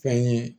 Fɛn ye